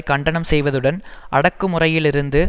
கண்டனம் செய்வதுடன் அடக்குமுறையிலிருந்தும்